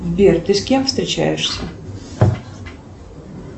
сбер ты с кем встречаешься